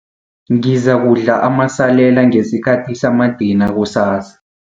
Ngizakudla amasalela ngesikhathi samadina kusasa.